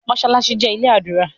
Mossalassi jé ilé adura